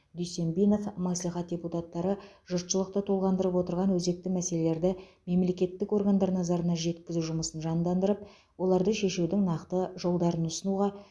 дүйсенбинов мәслихат депутаттары жұртшылықты толғандырып отырған өзекті мәселелерді мемлекеттік органдар назарына жеткізу жұмысын жандандырып оларды шешудің нақты жолдарын ұсынуға